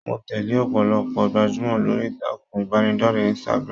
Mo tẹle ọpọlọpọ gbajumọ lórí ìtàkùn ìbánidọ̀rẹ̀ Instagram.